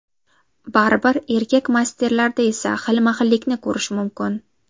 Baribir erkak masterlarda esa xilma-xillikni ko‘rish mumkin.